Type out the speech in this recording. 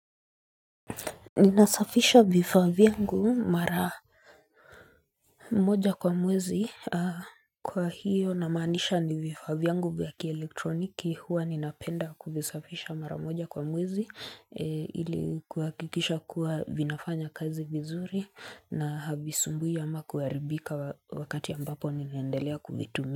Ninasafisha vifaa vyangu mara moja kwa mwezi kwa hiyo namaanisha ni vifaa vyangu vya kielektroniki huwa ninapenda kuvisafisha mara moja kwa mwezi ili kuhakikisha kuwa vinafanya kazi vizuri na havisumbui ama kuharibika wakati ambapo ninaendelea kuvitumia.